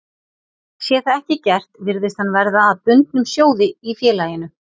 Sé það ekki gert virðist hann verða að bundnum sjóði í félaginu.